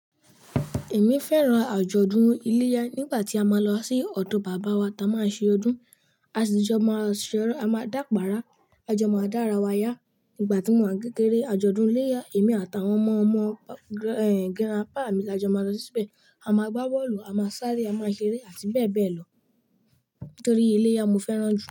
Èmi fẹ́ràn àjọ̀dún iléyá nígbà tí a máa ń lọ sí ọ̀dọ̀ bàbá wa tá a máa ń ṣe ọdún, a sì jọ máa ṣeré, a máa dàpara, a jọ máa dára wáyá nígbà tí mo ń kékéré àjọ̀dún iléyá èmi àtàwọn ọmọ ọmọ, ẹ́, grandpa mi la jọ máa lọ síbẹ̀. A máa gbá bọ́ọ̀lù, a máa sáré, a máa ṣeré àti bẹ́ẹ̀ bẹ́ẹ̀ lọ. Nítorí iléyá mo fẹ́ràn jù.